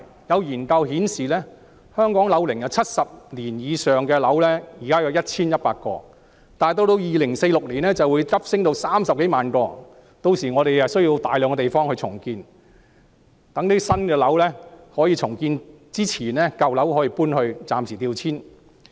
有研究顯示，香港樓齡70年以上的樓宇現在有 1,100 幢，到2046年便會急升至30多萬幢，屆時需要大規模重建，需要大量新樓宇供居住在舊樓的人暫時調遷。